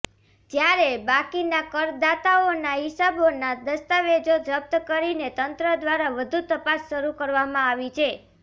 જ્યારે બાકીના કરદાતાઓના હિસાબોના દસ્તાવેજો જપ્ત કરીને તંત્ર દ્વારા વધુ તપાસ શરૃ કરવામાં આવી છે